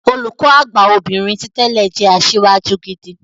Olùkọ Àgbà obìnrin ti tẹ́lẹ̀ jẹ́ asíwájú gidi.